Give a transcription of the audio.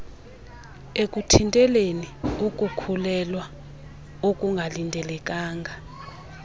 ekuthinteleni ukukhulelwea okungalindelekanga